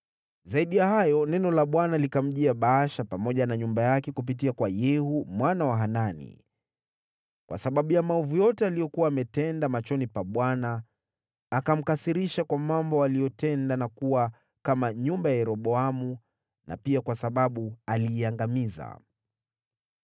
Zaidi ya hayo, neno la Bwana likamjia Baasha pamoja na nyumba yake kupitia kwa nabii Yehu mwana wa Hanani, kwa sababu ya maovu yote aliyokuwa ametenda machoni pa Bwana , akamkasirisha kwa mambo aliyotenda, na kuwa kama nyumba ya Yeroboamu, na pia kwa sababu aliiangamiza.